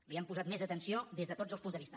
li hem posat més atenció des de tots els punts de vista